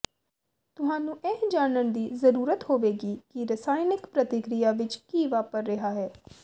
ਤੁਹਾਨੂੰ ਇਹ ਜਾਣਨ ਦੀ ਜ਼ਰੂਰਤ ਹੋਵੇਗੀ ਕਿ ਰਸਾਇਣਕ ਪ੍ਰਤੀਕ੍ਰਿਆ ਵਿੱਚ ਕੀ ਵਾਪਰ ਰਿਹਾ ਹੈ